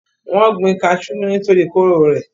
wọ́n gbin kasú nítorí kóró rẹ̀